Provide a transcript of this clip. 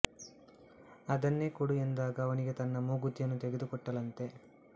ಅದನ್ನೇ ಕೊಡು ಎಂದಾಗ ಅವನಿಗೆ ತನ್ನ ಮೂಗುತಿಯನ್ನು ತೆಗೆದು ಕೊಟ್ಟಳಂತೆ